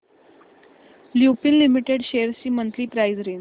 Lupin limited shares ची monthly price range